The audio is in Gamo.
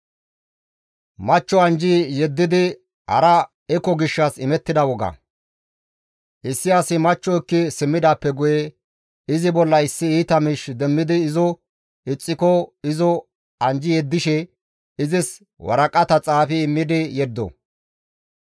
Issi asi machcho ekki simmidaappe guye izi bolla issi iita miish demmidi izo ixxiko izo anjji yeddishe izis waraqata xaafi immidi yeddo.